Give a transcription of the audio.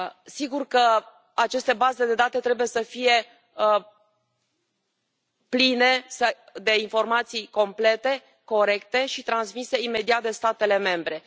Sigur că aceste baze de date trebuie să fie pline de informații complete, corecte și transmise imediat de statele membre.